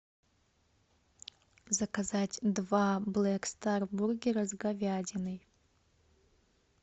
заказать два блэк стар бургера с говядиной